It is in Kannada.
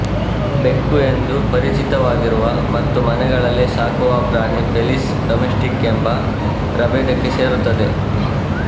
ಬೆಕ್ಕು ಎಂದು ಪರಿಚಿತವಾಗಿರುವ ಮತ್ತು ಮನೆಗಳಲ್ಲಿ ಸಾಕುವ ಪ್ರಾಣಿ ಫೆಲಿಸ್ ಡೊಮೆಸ್ಟಿಕ ಎಂಬ ಪ್ರಭೇದಕ್ಕೆ ಸೇರುತ್ತದೆ